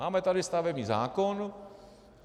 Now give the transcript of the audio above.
Máme tady stavební zákon.